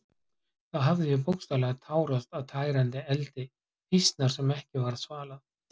Þá hafði ég bókstaflega tárast af tærandi eldi fýsnar sem ekki varð svalað.